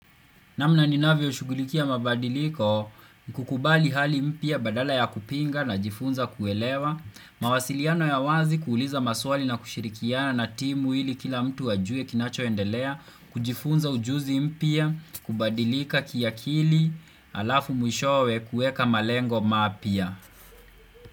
Namna ninavyoshugulikia mabadiliko ni kukubali hali mpya badala ya kupinga najifunza kuelewa mawasiliano ya wazi, kuuliza maswali, na kushirikiana na timu ili kila mtu ajue kinachoendelea, kujifunza ujuzi mpya, kubadilika kiakili Halafu mwishowe kuweka malengo mapya.